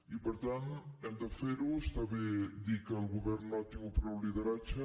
i per tant hem de fer ho està bé dir que el govern no ha tingut prou lideratge